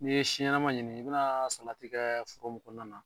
N ye si ɲɛnama ɲini , i be na salati kɛ foro mun kɔnɔna na